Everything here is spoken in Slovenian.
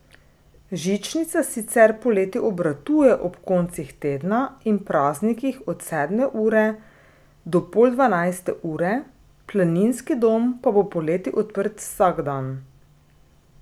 Žičnica sicer poleti obratuje ob koncih tedna in praznikih od sedme ure do pol dvanajste ure, planinski dom pa bo poleti odprt vsak dan.